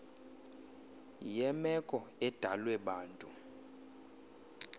yemeko edalwe bantu